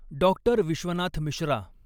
Doctor Vishwanath Mishra.